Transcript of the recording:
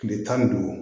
Tile tan ni duuru